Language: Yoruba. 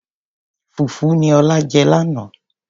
fùfú ni ọlá jẹ lánàá.